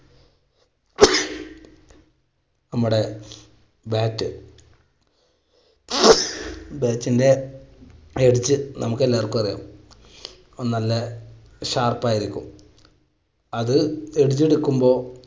നമ്മുടെ bat bat ന്റെ edge നമുക്കെല്ലാവർക്കും അറിയാം നല്ല sharp ആയിരിക്കും. അത് edge എടുക്കുമ്പോൾ